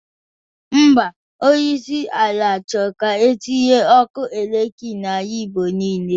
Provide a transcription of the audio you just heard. Ḿbà, onyeisi ala chọrọ ka etinye ọku eletrik n'ala igbo nile.